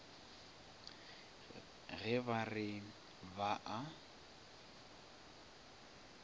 ge ba re ba a